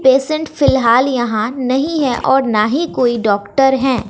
Patient फिलहाल यहां नहीं है और ना ही कोई डॉक्टर है।